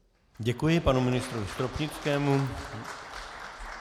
Děkuji panu ministrovi Stropnickému.